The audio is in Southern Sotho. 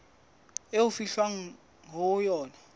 eo ho fihlwang ho yona